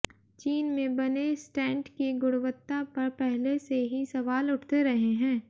चीन में बने स्टेंट की गुणवत्ता पर पहले से ही सवाल उठते रहे हैं